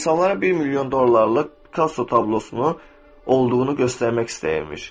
İnsanlara bir milyon dollarlıq Picasso tablosunu olduğunu göstərmək istəyirmiş.